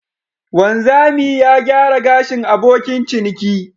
Wanzami ya gyara gashin abokin ciniki.